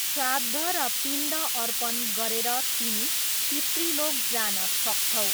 श्राद्ध र पिण्ड अर्पण गरेर तिमी पितृलोक जान सक्छौ।